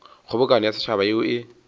kgobokano ya setšhaba yeo e